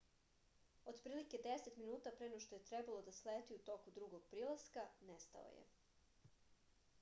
otprilike deset minuta pre no što je trebalo da sleti u toku drugog prilaska nestao je